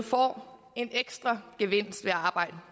får en ekstra gevinst ved at arbejde